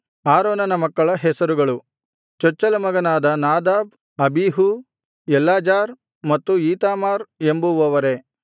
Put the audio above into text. ಆರೋನನ ಮಕ್ಕಳ ಹೆಸರುಗಳು ಚೊಚ್ಚಲ ಮಗನಾದ ನಾದಾಬ್ ಅಬೀಹೂ ಎಲ್ಲಾಜಾರ್ ಮತ್ತು ಈತಾಮಾರ್ ಎಂಬುವವರೇ